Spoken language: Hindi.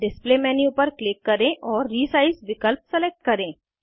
डिस्प्ले मेन्यू पर क्लिक करें और रिसाइज विकल्प सिलेक्ट करें